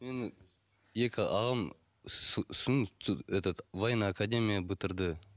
менің екі ағам этот военная акадамия бітірді